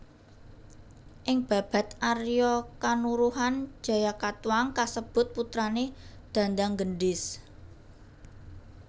Ing Babad Arya Kanuruhan Jayakatwang kasebut putrané Dhandhanggendhis